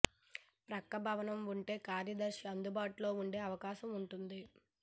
ప్రక్క భవనం ఉంటే కార్యదర్శి అందుబాటులో ఉండే అవకాశం ఉంటుంది